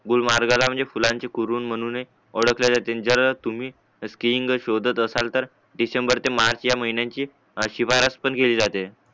बोल महाराजाना म्हणजेफुलांचे कुरुन म्हणून एक ओळखले जाते आणि जर तुम्ही स्किंग शोधात असाल तर डिसेंबर ते मार्च या महिन्याची शिफारस पण केली जाते